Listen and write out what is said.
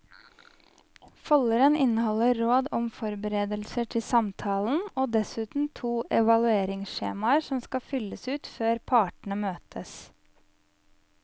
Folderen inneholder råd om forberedelser til samtalen og dessuten to evalueringsskjemaer som skal fylles ut før partene møtes.